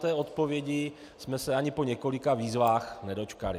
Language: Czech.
Té odpovědi jsme se ani po několika výzvách nedočkali.